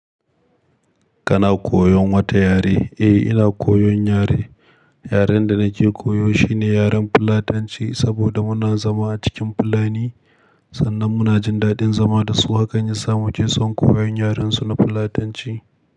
Kana koyon wata yare? Eh, ina koyon yare. Yaren da nake koyo shine yaren Fulatanci saboda muna zama a cikin Fulani. Sannan muna jin daɗin zama da su, hakani samu keson koyon yaren su na Fulatanci.